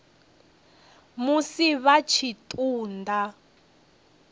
musi vha tshi ṱun ḓa